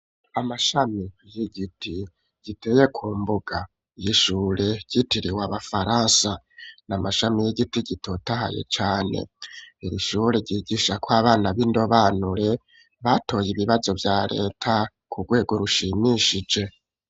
Amashami y'igiti giteye ku mbuga y'ishure ryitiriwe abafaransa, n'amashami y'igiti gitotahaye cane, iri shure ryigishako abana b'indobanure, batoye ibibazo vya leta ku rwego rushimishije.